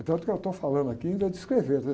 Tanto que eu estou falando aqui e ainda descrevendo, né?